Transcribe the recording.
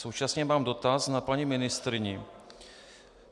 Současně mám dotaz na paní ministryni.